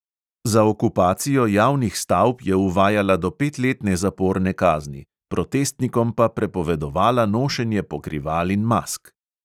Za okupacijo javnih stavb je uvajala do petletne zaporne kazni, protestnikom pa prepovedovala nošenje pokrival in mask.